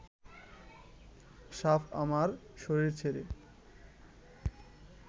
সাপ আমার শরীর ছেড়ে